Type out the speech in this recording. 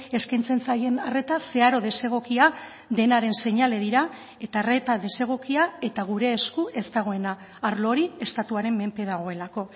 eskaintzen zaien arreta zeharo desegokia denaren seinale dira eta arreta desegokia eta gure esku ez dagoena arlo hori estatuaren menpe dagoelako